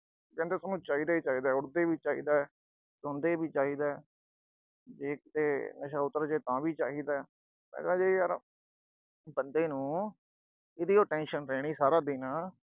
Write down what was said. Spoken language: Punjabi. ਕਾਹਦੇ ਸੋਨੂੰ ਚਾਹੀਦਾ ਹੀ ਚਾਹੀਦਾ, ਉਠਦੇ ਵੀ ਚਾਹੀਦਾ, ਸੌਂਦੇ ਵੀ ਚਾਹੀਦਾ, ਜੇ ਕਿਤੇ ਨਸ਼ਾ ਉਤਰ ਜੇ, ਤਾਂ ਵੀ ਚਾਹੀਦਾ। ਮੈਂ ਕਿਹਾ ਜੇ ਯਰ, ਬੰਦੇ ਨੂੰ ਅਹ ਇਹਦੀ ਓ tension ਰਹਿਣੀ ਸਾਰਾ ਦਿਨ ਅਹ ।